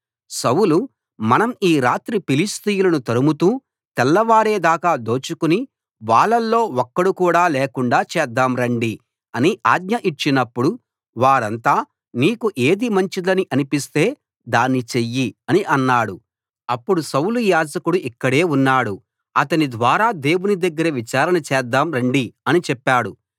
సౌలు మనం ఈ రాత్రి ఫిలిష్తీయులను తరుముతూ తెల్లవారేదాకా దోచుకుని వాళ్ళలో ఒక్కడు కూడా లేకుండా చేద్దాం రండి అని ఆజ్ఞ ఇచ్చినప్పుడు వారంతా నీకు ఏది మంచిదని అనిపిస్తే దాన్ని చెయ్యి అని అన్నారు అప్పుడు సౌలు యాజకుడు ఇక్కడే ఉన్నాడు అతని ద్వారా దేవుని దగ్గర విచారణ చేద్దాం రండి అని చెప్పాడు